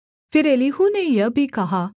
फिर एलीहू ने यह भी कहा